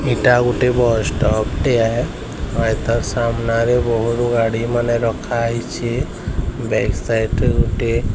ଏଇଟା ଗୋଟେ bus stop ଟେ ହୈ ହଏତୋ ସାମ୍ନାରେ ବହୁତ ଗାଡ଼ିମାନେ ରଖାହୋଇଛି ବ୍ୟାକ୍ ସାଇଡ୍ ରେ ଗୋଟିଏ --